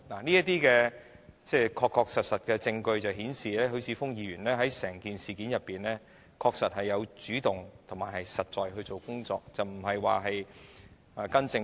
這些確實的證據顯示，許智峯議員在整件事上確實主動進行實在的工作，並非跟從政府。